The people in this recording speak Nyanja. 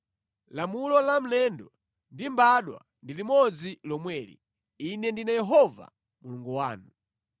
Lamulo la mlendo ndi mbadwa ndi limodzi lomweli. Ine ndine Yehova Mulungu wanu.’ ”